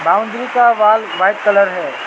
Boundary का wall white colour है।